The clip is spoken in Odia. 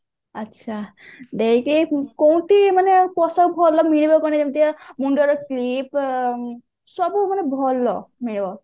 ଆଛା କୋଉଠି ମାନେ ପୋଷାକ ଭଲରେ ମିଳିବ କଣ ଯେମିତିକା ମୁଣ୍ଡରେ clip ସବୁ ମାନେ ଭଲ ମିଳିବ